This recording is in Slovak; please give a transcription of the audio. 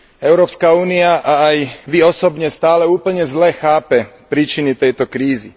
Európska únia a aj Vy osobne stále úplne zle chápe príčiny tejto krízy.